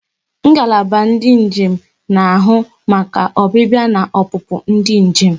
Ngalaba ndị njem na ahụ maka ọbịbịa na opupu ndị njem